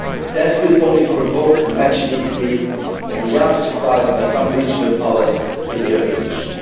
war. That would only provoke a matching increase in the arms supplies by some regional powers to the opposition.